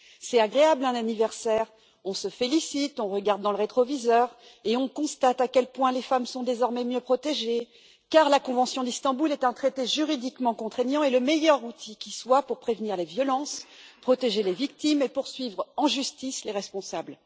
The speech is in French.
C'est agréable un anniversaire, on se félicite, on regarde dans le rétroviseur et on constate à quel point les femmes sont désormais mieux protégées, car la convention d'Istanbul est un traité juridiquement contraignant et le meilleur outil qui soit pour prévenir les violences, protéger les victimes et poursuivre en justice les responsables.